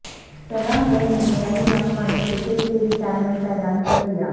ثنا میر نے بین الاقوامی کرکٹ سے ریٹائرمنٹ کا اعلان کر دیا